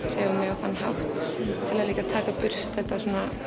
á þann hátt til að líka taka burt þetta